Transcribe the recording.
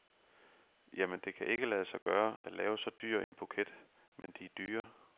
Jamen, det kan ikke lade sig gøre at lave så dyr en buket, men de er dyre.